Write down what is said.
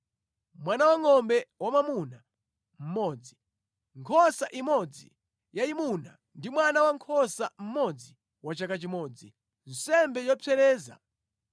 mwana wangʼombe wamwamuna mmodzi, nkhosa imodzi yayimuna ndi mwana wankhosa mmodzi wa chaka chimodzi, nsembe yopsereza;